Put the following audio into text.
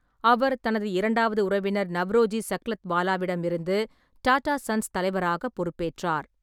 அவர் தனது இரண்டாவது உறவினர் நவ்ரோஜி சக்லத்வாலாவிடமிருந்து டாடா சன்ஸ் தலைவராக பொறுப்பேற்றார்.